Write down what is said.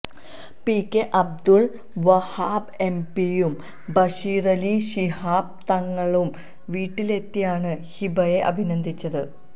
P K Abdul Wahab എംപിയും ബഷീറലി ശിഹാബ് തങ്ങളും വീട്ടിലെത്തിയാണ് ഹിബയെ അഭിനന്ദിച്ചത്